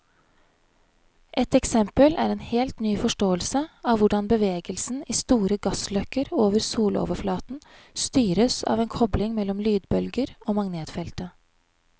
Et eksempel er en helt ny forståelse av hvordan bevegelsen i store gassløkker over soloverflaten styres av en kobling mellom lydbølger og magnetfeltet.